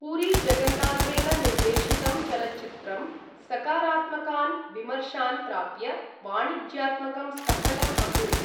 पुरी जगन्नाथेन निर्देशितं चलच्चित्रं सकारात्मकान् विमर्शान् प्राप्य, वाणिज्यात्मकं सफलम् अभूत्।